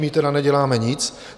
My tedy neděláme nic.